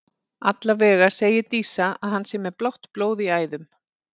Allavega segir Dísa að hann sé með blátt blóð í æðum.